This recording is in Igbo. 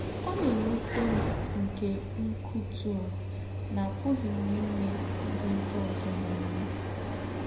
“Ọ̀ nà-èwùté m nké úkútù nà àpùghí m ímè íhé ndí́ ózọ́ nà-èmè.